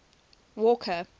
walker